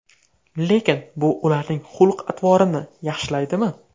Lekin bu ularning xulq-atvorini yaxshilaydimi?